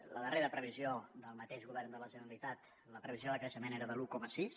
a la darrera previsió del mateix govern de la generalitat la previsió de creixement era de l’un coma sis